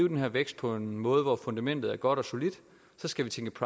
den her vækst på en måde hvor fundamentet er godt og solidt så skal vi tænke